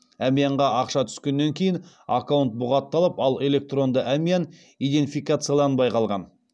әмиянға ақша түскеннен кейін аккаунт бұғатталып ал электронды әмиян иденфикацияланбай қалған